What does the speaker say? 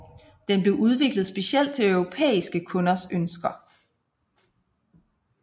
Den blev udviklet specielt til europæiske kunders ønsker